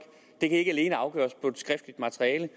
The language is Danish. det kan ikke alene afgøres på et skriftligt materiale